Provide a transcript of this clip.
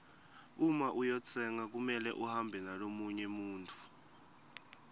uma uyotsenga kumele uhambe nalomunye muntfu